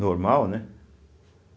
Normal, né?